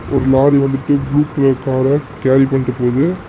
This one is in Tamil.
ஒரு லாரி வந்து thick blue colour car carry பண்ணிட்டு போது.